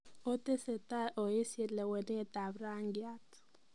Otesetai oesio leweneet ab rangiat.